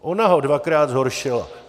Ona ho dvakrát zhoršila.